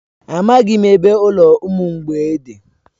Amaghị m ebe ụlọ ụmụ mgbei dị.